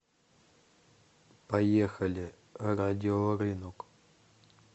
поехали радиорынок